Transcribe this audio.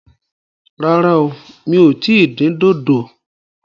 Rárá o, mi ò tí ì dín dòdò